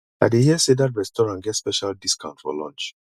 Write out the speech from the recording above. i dey hear sey dat restaurant get special discount for lunch